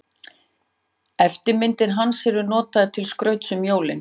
Eftirmyndir hans eru notaðar til skrauts um jólin.